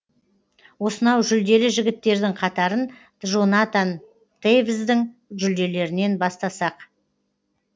осынау жүлделі жігіттердің қатарын джонатан тейвздың жүлделерінен бастасақ